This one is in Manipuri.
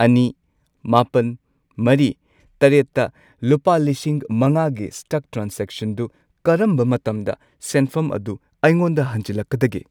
ꯑꯅꯤ, ꯃꯥꯄꯟ, ꯃꯔꯤ, ꯇꯔꯦꯠꯇ ꯂꯨꯄꯥ ꯂꯤꯁꯤꯡ ꯃꯉꯥꯒꯤ ꯁ꯭ꯇꯛ ꯇ꯭ꯔꯥꯟꯖꯦꯛꯁꯟꯗꯨ ꯀꯔꯝꯕ ꯃꯇꯝꯗ ꯁꯦꯟꯐꯝ ꯑꯗꯨ ꯑꯩꯉꯣꯟꯗ ꯍꯟꯖꯤꯜꯂꯛꯀꯗꯒꯦ ?